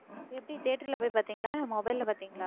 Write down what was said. எப்படி தியேட்டர்ல போய் பாத்தீங்களா இல்ல mobile ல பாத்தீங்களா